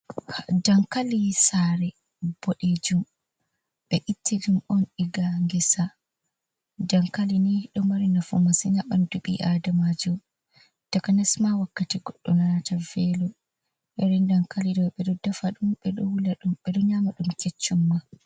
Dankali sare boɗejum. Ɓe itti ɗum on diga ngesa. Dankali ni ɗo mari nafu masin ha ɓandu ɓi Adamajo. takanasma wakkati goɗɗo ɗo nana velo. Irin dankali ɗo ɓe ɗo defa ɗum, ɓe ɗo wula ɗum, ɓe ɗo nyama dum keccum ma.